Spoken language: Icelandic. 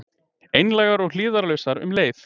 Einlægar og hlífðarlausar um leið.